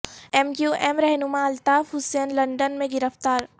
M Q M رہنما Altaf Hussain London میں گرفتار